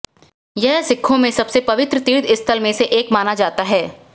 यह सिखों में सबसे पवित्र तीर्थस्थलों में से एक माना जाता है